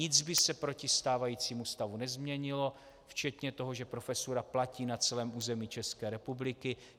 Nic by se proti stávajícímu stavu nezměnilo včetně toho, že profesura platí na celém území České republiky.